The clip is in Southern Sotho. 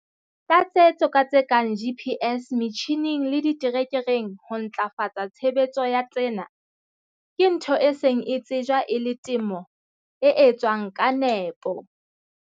Tlatsetso ka tse kang GPS metjhineng le diterekereng ho ntlafatsa tshebetso ya tsena ke ntho e seng e tsejwa e le temo e etswang ka nepo.